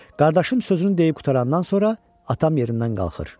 Qardaşım sözünü deyib qurtarandan sonra atam yerindən qalxır.